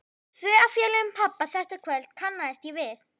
Tvo af félögum pabba þetta kvöld kannaðist ég við.